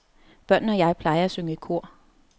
Børnene og jeg plejer at synge i kor.